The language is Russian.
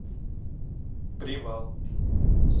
привал